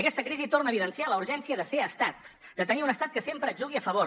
aquesta crisi torna a evidenciar la urgència de ser estat de tenir un estat que sempre jugui a favor